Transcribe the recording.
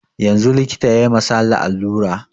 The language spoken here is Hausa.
Yanzun likita yayi ma sale alura